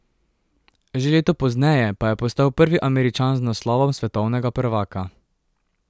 Že leto pozneje pa je postal prvi Američan z naslovom svetovnega prvaka.